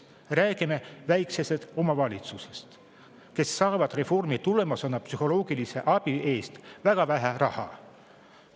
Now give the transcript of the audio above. Räägime väikestest omavalitsustest, kes saavad reformi tulemusena psühholoogilise abi jaoks väga vähe raha.